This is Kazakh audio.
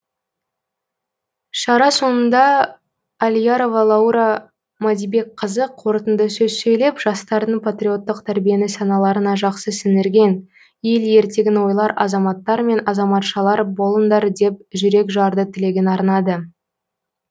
шара соңында алиярова лаура мадибекқызы қорытынды сөз сөйлеп жастардың патриоттық тәрбиені саналарына жақсы сіңірген ел ертегін ойлар азаматтар мен азаматшалар болыңдар деп жүрекжарды тілегін арнады